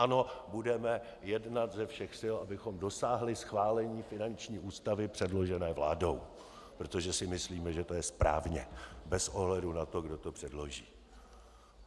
Ano, budeme jednat ze všech sil, abychom dosáhli schválení finanční ústavy předložené vládou, protože si myslíme, že to je správně bez ohledu na to, kdo to předloží.